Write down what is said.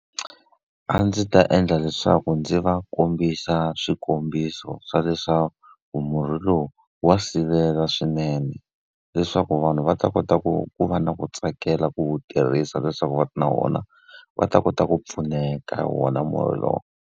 A ndzi ta endla leswaku ndzi va kombisa swikombiso swa leswaku murhi lowu wa sivela swinene. Leswaku vanhu va ta kota ku ku va na ku tsakela ku wu tirhisa leswaku va na vona va ta kota ku pfuneka hi wona murhi lowu.